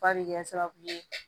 Ba bɛ kɛ sababu ye